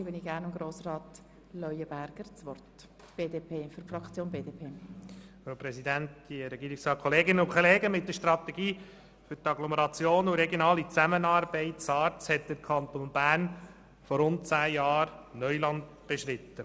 Mit der Strategie für Agglomerationen und Regionale Zusammenarbeit beziehungsweise SARZ hat der Kanton Bern vor rund zehn Jahren Neuland beschritten.